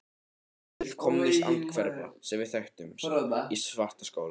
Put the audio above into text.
Hún var fullkomnust andhverfa, sem við þekktum, við Svartaskóla.